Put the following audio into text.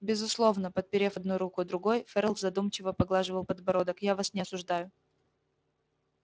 безусловно подперев одну руку другой ферл задумчиво поглаживал подбородок я вас не осуждаю